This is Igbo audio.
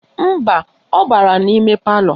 Mba, ọ bara n'ime palọ